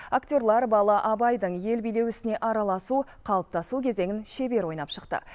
актерлер бала абайдың ел билеу ісіне араласу қалыптасу кезеңін шебер ойнап шықты